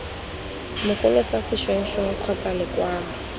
mogolo sa sešwengšeng kgotsa lekwalo